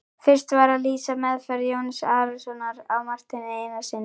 Fyrst var að lýsa meðferð Jóns Arasonar á Marteini Einarssyni.